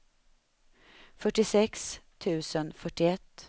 fyrtiosex tusen fyrtioett